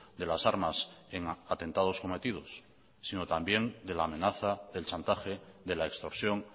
de las armas en atentados cometidos sino también de la amenaza del chantaje de la extorsión